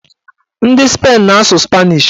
Ndị Spain na-asụ spanish